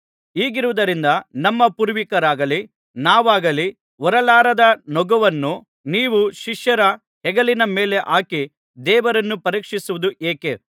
ಹೀಗಿರುವುದರಿಂದ ನಮ್ಮ ಪೂರ್ವಿಕರಾಗಲಿ ನಾವಾಗಲಿ ಹೊರಲಾಗದ ನೋಗವನ್ನು ನೀವು ಶಿಷ್ಯರ ಹೆಗಲಿನ ಮೇಲೆ ಹಾಕಿ ದೇವರನ್ನು ಪರೀಕ್ಷಿಸುವುದು ಏಕೆ